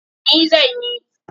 Ni zan yi.